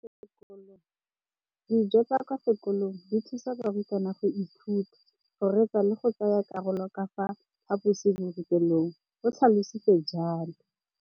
Dijo tsa kwa sekolong dithusa barutwana go ithuta, go reetsa le go tsaya karolo ka fa phaposiborutelong, o tlhalositse jalo.